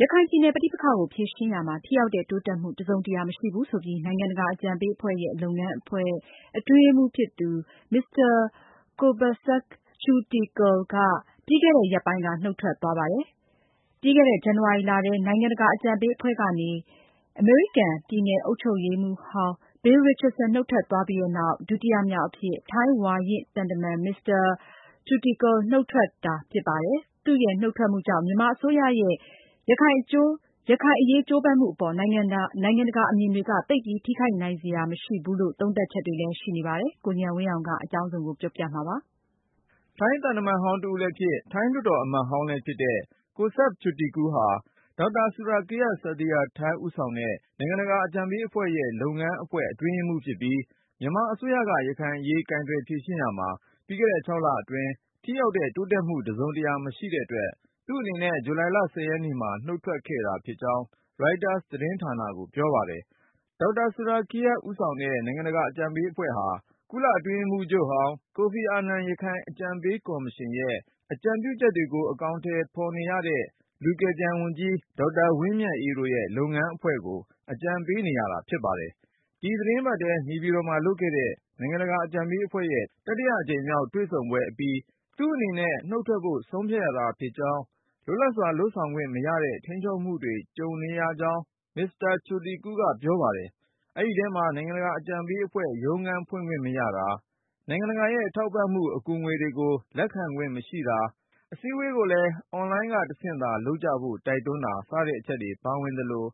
ရခိုင်ပြည်နယ် ပဋိပက္ခကိုဖြေရှင်းရာမှာ ထိရောက်တဲ့တိုးတက်မှု တစုံတရာ မရှိဘူးဆိုပြီး နိုင်ငံတကာအကြံပေးအဖွဲ့ရဲ့ လုပ်ငန်းအဖွဲ့ အတွင်းရေးမှူးဖြစ်သူ မစ္စတာ Kobsak Chutikul ဟာ ပြီးခဲ့တဲ့ ရက်ပိုင်းက နုတ်ထွက်သွားပါတယ်။ ပြီးခဲ့တဲ့ ဇန်နဝါရီလထဲ နိုင်ငံတကာအကြံပေးအဖွဲ့ကနေ အမေရိကန် ပြည်နယ်အုပ်ချုပ်ရေးမှူးဟောင်း Bill Richardson နုတ်ထွက်သွားပြီးနောက် ဒုတိယမြောက်အဖြစ် ထိုင်းဝါရင့်သံတမန် မစ္စတာ Chutikul နုတ်ထွက်တာ ဖြစ်ပါတယ်။ သူ့ရဲ့နုတ်ထွက်မှုကြောင့် မြန်မာအစိုးရရဲ့ ရခိုင်အရေးကြိုးပမ်းမှုအပေါ် နိုင်ငံတကာအမြင်တွေက သိပ်ပြီး ထိခိုက်နိုင်စရာ မရှိဘူးလို့ သုံးသပ်တာတွေ လည်းရှိနေပါတယ်။ ဒီအကြောင်း ကိုဉာဏ်ဝင်းအောင်က ပြောပြမှာပါ။ ထိုင်းသံတမန်ဟောင်းတဦးလည်းဖြစ်၊ ထိုင်းလွှတ်တော် အမတ်ဟောင်းလည်းဖြစ်တဲ့ Kobsak Chutikul ဟာ Dr. Surakiart Sathirathai ဦးဆောင်တဲ့ နိုင်ငံတကာအကြံပေးအဖွဲ့ရဲ့ လုပ်ငန်းအဖွဲ့ အတွင်းရေးမှူးဖြစ်ပြီး၊ မြန်မာအစိုးရက ရခိုင်အရေး ကိုင်တွယ်ဖြေရှင်းရာမှာ ပြီးခဲ့တဲ့ ၆လအတွင်း ထိရောက်တဲ့ တိုးတက်မှု တစုံတရာ မရှိတဲ့အတွက် သူ့အနေနဲ့ ဂျူလိုင်လ ရက်နေ့မှာ နုတ်ထွက်ခဲ့တာဖြစ်ကြောင်း Reuters သတင်းဌာနကို ပြောပါတယ်။ Dr. Surakiart Sathirathai ဦးဆောင်တဲ့ နိုင်ငံတကာအကြံပေးအဖွဲ့ဟာ ကုလအတွင်းရေးမှူးချုပ်ဟောင်း ကိုဖီအာနန် ရခိုင်အကြံပေးကော်မရှင်ရဲ့ အကြံပြု ချက်တွေကို အကောင်ထည်ဖေါ်ရတဲ့ လူကယ်ပြန်ဝန်ကြီး ဒေါက်တာဝင်းမြတ်အေးတို့ရဲ့ UEHRD လုပ်ငန်းအဖွဲ့ကို အကြံပေးရတာ ဖြစ်ပါတယ်။ ဒီသီတင်းပတ်ထဲ နေပြည်တော်မှာလုပ်ခဲ့တဲ့ နိုင်ငံတကာအကြံပေးအဖွဲ့ရဲ့ တတိယအကြိမ်မြောက် တွေ့ဆုံပွဲအပြီး သူ့အနေနဲ့ နုတ်ထွက်ဖို့ ဆုံးဖြတ်ရတာ ဖြစ်ကြောင်း၊ လွတ်လပ်စွာ လုပ်ဆောင်ခွင့်မရတဲ့ ထိန်းချုပ်မှုတွေ ကြုံနေရကြောင်း မစ္စတာ Chutikul ကပြောပါတယ်။ အဲဒီအထဲမှာ နိုင်ငံတကာအကြံပေး အဖွဲ့ရဲ့ ရုံးခန်းဖွင့်ခွင့်မရတာ၊ နိုင်ငံတကာရဲ့ ထောက်ပံ့မှု အကူငွေကို လက်ခံခွင့်မရှိတာ၊ အစည်းအဝေးတွေကိုလည်း Online ကတဆင့်သာ လုပ်ကြဖို့ တိုက်တွန်းတာ စတဲ့အချက်တွေ ပါဝင်သလို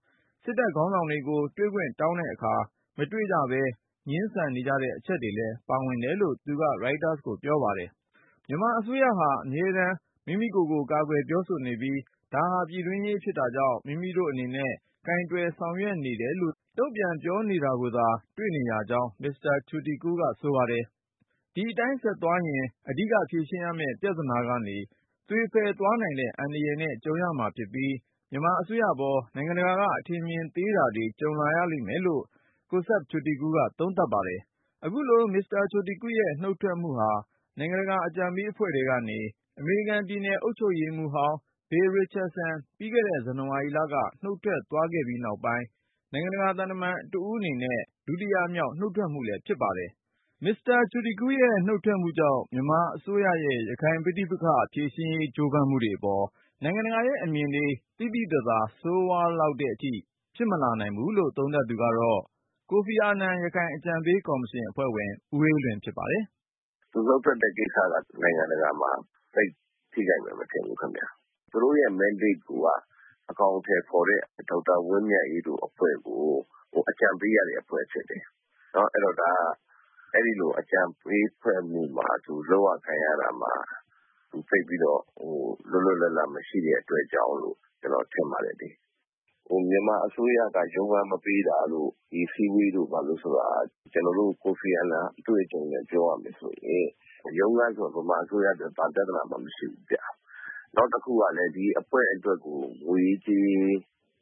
၊ စစ်တပ်ခေါင်းဆောင်တွေကို တွေ့ခွင့်တောင်းတဲ့အခါ မတွေ့ကြပဲ ငြင်းဆန်နေကြတဲ့ အချက်တွေလည်း ပါဝင် တယ်လို့ သူက Reuters ကိုပြောပါတယ်။ မြန်မာအစိုးရကဟာ အမြဲတမ်း မိမိကိုယ်ကို ကာကွယ်ပြောဆိုနေပြီး၊ ဒါဟာ ပြည်တွင်းရေးဖြစ်တာကြောင့် မိမိတို့ အနေနဲ့ ကိုယ်တွယ်ဆောင်ရွက်နေတယ်လို့သာ တုန့်ပြန်ပြောနေတာကိုသာ တွေ့နေရကြောင်း မစ္စတာ Chutikul ကဆိုပါတယ်။ ဒီအတိုင်း ဆက်သွားရင် အဓိကဖြေရှင်းရမယ့် ပြဿနာကနေ သွေဖည်သွားနိုင်တဲ့ အန္တရာယ်နဲ့ ကြုံရမှာဖြစ်ပြီး မြန်မာအစိုးရပေါ် နိုင်ငံတကာက အထင်မြင် သေးတာတွေ ကြုံလာရလိမ့်မယ်လို့ Kobsak Chutikul ကသုံးသပ်ပါတယ်။ အခုလို မစ္စတာ Chutikul ရဲ့နှုတ်ထွက်မှုဟာ နိုင်ငံတကာအကြံပေးအဖွဲ့ထဲကနေ အမေရိကန်ပြည်နယ်အုပ်ချုပ်ရေးမှူးဟောင်း Bill Richardson ပြီးခဲ့တဲ့ ဇန်နဝါရီလက နုတ်ထွက်သွားပြီးနောက်ပိုင်း နိုင်ငံတကာ သံတမန်တဦးအနေနဲ့ ဒုတိယမြောက် နုတ်ထွက်မှုလည်း ဖြစ်ပါတယ်။ မစ္စတာ Chutikul ရဲ့ နုတ်ထွက်မှုကြောင့် မြန်မာအစိုးရရဲ့ ရခိုင်ပဋိပက္ခဖြေရှင်းရေး ကြိုးပမ်းမှုတွေအပေါ် နိုင်ငံတကာရဲ့ အမြင်တွေ သိသိသာသာ ဆိုးဝါးလောက်တဲ့အထိ ဖြစ်မလာနိုင်ဘူးလို့ သုံးသပ်သူကတော့ ကိုဖီအာနန် ရခိုင်အကြံပေးကော်မရှင် အဖွဲ့ဝင် ဦးအေးလွင်ဖြစ်ပါတယ်။ “ သူနုတ်ထွက်တဲ့ကိစ္စက နိုင်ငံတကာမှာ သိပ် ထိခိုက်မယ် မထင်ဘူးခင်ဗျ။ သူတို့ရဲ့ mandate ကိုယ်က အကောင်အထည်ဖေါ်တဲ့ ဒေါက်တာ ဝင်းမြတ်အေးတို့ရဲ့ အဖွဲ့ကို အကြံပေးရတဲ့အဖွဲ့ဖြစ်တယ်။ အဲဒီတော့ဒါ အဲဒီလို အကြံပေးအဖွဲ့မှာ သူလုပ်ရကိုင်ရတာမှာ သူသိပ်ပြီးတော့ လွတ်လွတ်လပ်လပ် မရှိတဲ့ အတွက်ကြောင့်မို့လို့ ကျနော်ထင်ပါတယ်လေ။ ဟို မြန်မာအစိုးရက ရုံးခန်းမပေးတာတို့ ဒီအစည်းအဝေးတို့ ဘာတို့ဆိုတာ ကျနော်တို့ ကိုဖီအာနန်အတွေ့အကြုံနဲ့ ပြောရမယ်ဆိုရင်… ရုံးခန်းဆိုတာ မြန်မာအစိုးရအတွက် ဘာပြဿနာမှ မရှိဘူးဗျ။ နောက်တခုကလည်း ဒီအဖွဲ့ အတွက်ကို ငွေရေးကြေးရေး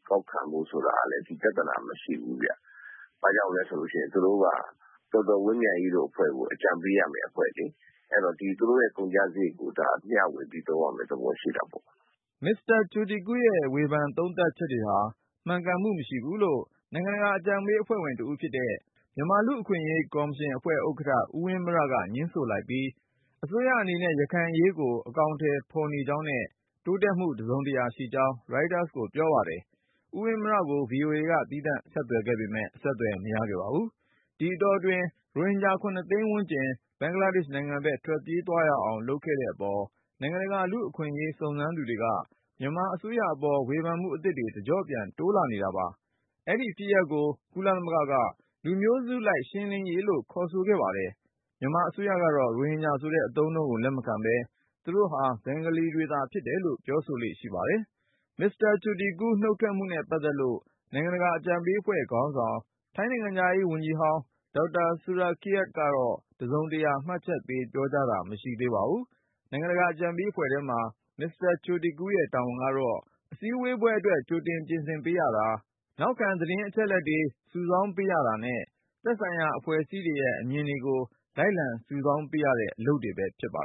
ကောက်ခံမှု ဆိုတာကလည်း ပြဿနာ မရှိဘူးဗျ။ ဘာကြောင့်လည်းဆိုလို့ရှိရင် သူတို့က ဒေါက်တာ ဝင်းမြတ်အေးတို့ အဖွဲ့ကို အကြံပေးရမယ့် အဖွဲ့လေ။ အဲဒီတော့ သူတို့ရဲ့ကုန်ကျစရိတ်ကို ဒါ မျှဝေပြီးသုံးရမယ့် သဘောရှိတာပေါ့။ ” မစ္စတာ Chutikul ရဲ့ဝေဖန်သုံးသပ်ချက်တွေဟာ မှန်ကန်မှုမရှိဘူးလို့ နိုင်ငံတကာ အကြံပေးအဖွဲ့ဝင်တဦးဖြစ်တဲ့ မြန်မာ လူ့အခွင့်အရေးကော်မရှင် ဥက္ကဌ ဦးဝင်းမြက ငြင်းဆိုလိုက်ပြီး အစိုးရအနေနဲ့ ရခိုင်အရေးကို အကောင်အထည်ဖေါ်နေကြောင်းနဲ့ တိုးတက်မှု တစုံတရာရှိကြောင်း Reuters ကိုပြောပါတယ်။ ဦးဝင်းမြကို VOA က သီးသန့်ဆက်သွယ်ခဲ့ပေမယ့် အဆက်သွယ် မရခဲ့ပါဘူး။ ဒီအတောတွင်း ရိုဟင်ဂျာ သိန်းဝန်းကျင် ဘင်္ဂလားဒေ့ရှ်နိုင်ငံဘက် ထွက်ပြေးသွားအောင် လုပ်ခဲ့တဲ့အပေါ် နိုင်ငံတကာ လူ့အခွင့်ရေး စုံစမ်းသူတွေက မြန်မာအစိုးရအပေါ် ဝေဖန်မှုအသစ်တွေ တကြော့ပြန် တိုးလာနေတာပါ။ အဲဒီဖြစ်ရပ်ကို ကုလသမဂ္ဂက လူမျိုးစုလိုက် ရှင်းလင်းရေးလို့ ခေါ်ဆိုခဲ့ပါတယ်။ မြန်မာအစိုးရကတော့ ရိုဟင်ဂျာဆိုတဲ့ အသုံးအနှုန်းကို လက်မခံပဲ၊ သူတို့ဟာ ဘင်္ဂလီတွေသာဖြစ်တယ်လို့ ပြောဆိုလေ့ရှိပါတယ်။ မစ္စတာ Chutikul နုတ်ထွက်မှုနဲ့ ပတ်သက်လို့ နိုင်ငံတကာအကြံပေးအဖွဲ့ခေါင်းဆောင် ထိုင်းနိုင်ငံခြားရေးဝန်ကြီးဟောင်း Dr. Surakiart က တစုံတရာ မှတ်ချက်ပေး ပြောကြားတာ မရှိသေးပါဘူး။ နိုင်ငံတကာအကြံပေးအဖွဲ့ထဲမှာ မစ္စတာ Chutikul ရဲ့တာဝန်ကတော့ အစည်းအဝေးပွဲအတွက် ကြိုတင် ပြင်ဆင်ပေးရတာ၊ နောက်ခံ သတင်းအချက်အလက်တွေ စုဆောင်းပေးရတာနဲ့ သက်ဆိုင်ရာ အဖွဲ့အစည်းတွေရဲ့ အမြင်တွေကို လိုက်လံစုဆောင်း ပေးရတဲ့ အလုပ်တွေ ဖြစ်ပါ